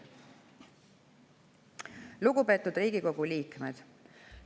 Lugupeetud Riigikogu liikmed!